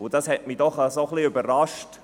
Dies hat mich doch ein bisschen überrascht.